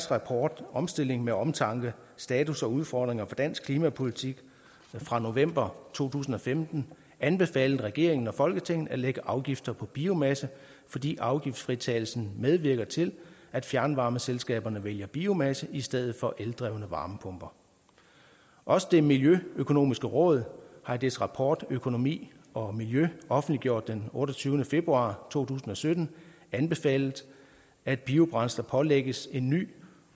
rapport omstilling med omtanke status og udfordringer for dansk klimapolitik fra november to tusind og femten anbefalet regeringen og folketinget at lægge afgifter på biomasse fordi afgiftsfritagelsen medvirker til at fjernvarmeselskaberne vælger biomasse i stedet for eldrevne varmepumper også det miljøøkonomiske råd har i dets rapport økonomi og miljø offentliggjort den otteogtyvende februar to tusind og sytten anbefalet at biobrændsler pålægges en ny